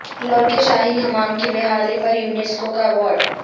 لاہور کے شاہی حمام کی بحالی پر یونیسکو کا ایوارڈ